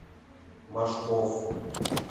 машков